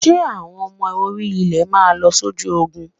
Ǹjẹ́ àwọn ọmọ orí-ilẹ̀ máa lọ sójú Ogun?